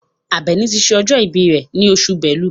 Àbẹ̀ní ti ṣe ọjọ́ ìbí rẹ̀ ní oṣù Bẹ́lú.